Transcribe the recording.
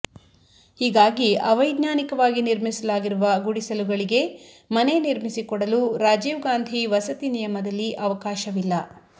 ಹೀಗಾಗಿ ಅವೈಜ್ಞಾನೀಕವಾಗಿ ನಿರ್ಮಿಸಲಾಗಿರುವ ಗುಡಿಸಲುಗಳಿಗೆ ಮನೆ ನಿರ್ಮಿಸಿ ಕೊಡಲು ರಾಜೀವ್ ಗಾಂಧಿ ವಸತಿ ನಿಯಮದಲ್ಲಿ ಅವಕಾಶವಿಲ್ಲ